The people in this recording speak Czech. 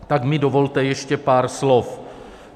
Tak mi dovolte ještě pár slov.